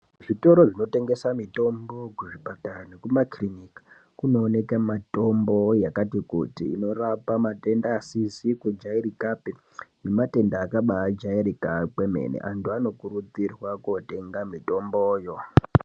Zvitoro zvinotengesa mitombo kuzvipatara nekumakiriniki kunoonekwa mitombo yakati kuti inorapa maningi matenda asizi kujairikapi nematenda akabajairika kwemene antu anokurudzirwa kotenga mitomboyo.